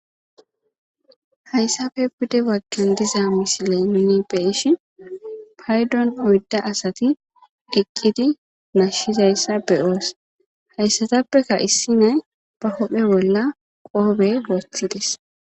Haysape pude bagan diza misilen nuuni be'ishin paydon oydu asati uthidi nashizaysa be'os haysatapeka issi na'ay ba huuphe bola qoophe wothides.